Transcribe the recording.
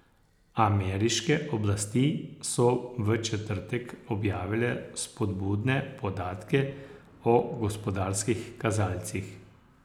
Ameriške oblasti so v četrtek objavile spodbudne podatke o gospodarskih kazalcih.